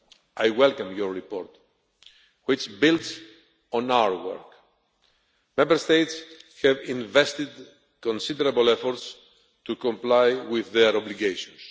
I welcome Parliament's report, which builds on our work. Member States have invested considerable effort to comply with their obligations.